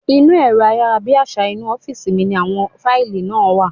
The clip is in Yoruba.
Inú ẹ̀rọ ayárabíàṣá inú ọ́fìsì mi ní àwọn fáìlì náà wà